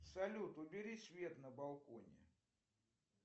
салют убери свет на балконе